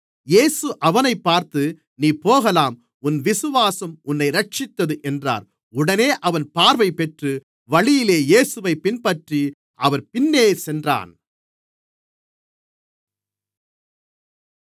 இயேசு அவனைப் பார்த்து நீ போகலாம் உன் விசுவாசம் உன்னை இரட்சித்தது என்றார் உடனே அவன் பார்வைபெற்று வழியிலே இயேசுவைப் பின்பற்றி அவர்பின்னே சென்றான்